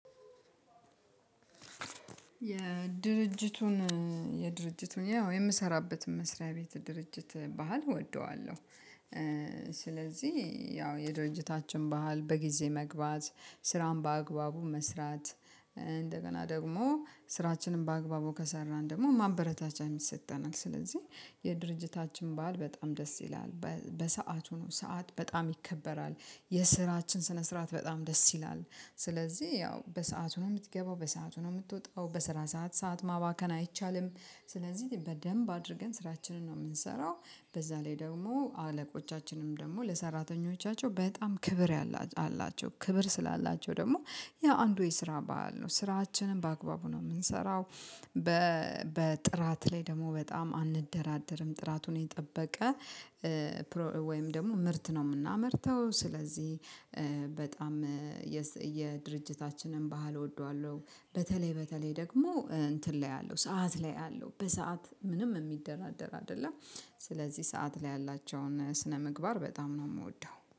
የድርጅቱን የድርጅት ያው የምሰራበት መስሪያ ቤት ድርጅት ባህል እወደዋለሁ። ስለዚህ ያው የዶጀታችን ባህል በጊዜ መግባት ስራን በአግባቡ መስራት እንደገና ደግሞ ስራችንን በአግባቡ ከሰራን ደግሞ ማበረታቻም ይሰጠናል ስለዚህ የድርጅታችን በዓል በጣም ደስ ይላል። በሰአቱ ነው ሰዓት በጣም ይከበራል የስራችን ስነ ስርዓት በጣም ደስ ይላል። ስለዚህ ያው በሰአቱ ነው የምትገባው በሰአቱ ነው የምትወጣው በስራ ሰዓት ሰዓት ማባከን አይቻልም። ስለዚህ በደንብ አድርገን ስራችንን ነው የምንሰራው። በዛ ላይ ደግሞ አለቆቻችንም ደግሞ ለሰራተኞቻቸው በጣም ክብር አላቸው ክብር ስላላቸው ደግሞ ያ አንዱ የስራ በዓል ነው ስራችንን በአግባቡ ነው የምንሰራው። በጥራት ላይ ደግሞ በጣም አንደራደርም ጥራቱን የጠበቀ። ወይም ደግሞ ምርት ነው የምናመርተው ስለዚህ በጣም የድርጅታችንን ባህል እወደዋለሁ። በተለይ በተለይ ደግሞ እንትን ላይ አለው ሰዓት ላይ አለው በሰአት ምንም የሚደራደር አይደለም። ስለዚህ ሰዓት ላይ ያላቸውን ስነምግባር በጣም ነው የምወደው